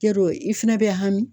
Yarɔ i fɛnɛ bɛ hami